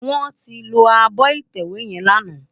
Wòn ti ló ábò itèwé yèn làná